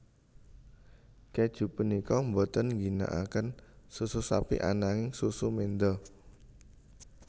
Kèju punika boten ngginakaken susu sapi ananging susu menda